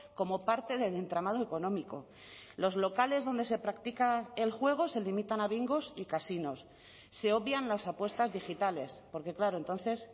como parte del entramado económico los locales donde se practica el juego se limitan a bingos y casinos se obvian las apuestas digitales porque claro entonces